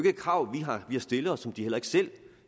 et krav vi har stillet og som de selv